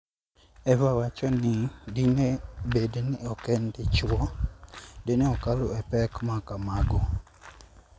Eva wacho ni dine bed ni ok en dichwo, dine okalo e pek ma kamago.